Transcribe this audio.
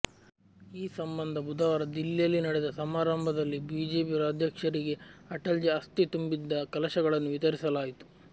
ಈ ಸಂಬಂಧ ಬುಧವಾರ ದಿಲ್ಲಿಯಲ್ಲಿ ನಡೆದ ಸಮಾರಂಭದಲ್ಲಿ ಬಿಜೆಪಿ ರಾಜ್ಯಾಧ್ಯಕ್ಷರಿಗೆ ಅಟಲ್ಜಿ ಅಸ್ಥಿ ತುಂಬಿದ್ದ ಕಲಶಗಳನ್ನು ವಿತರಿಸಲಾಯಿತು